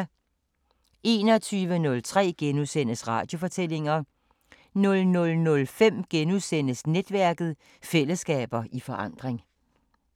21:03: Radiofortællinger * 00:05: Netværket: Fællesskaber i forandring *